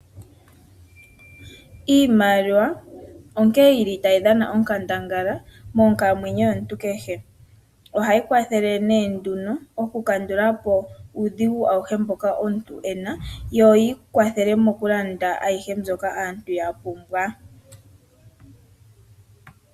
Iimaliwa onkee yili tayi dhana onkandangala monkalamwenyo yomuntu kehe. Ohayi kwathele oku kandula po uudhigu auhe mboka omuntu ena yo yi kwathele mokulanda ayihe mbyoka aantu ya pumbwa.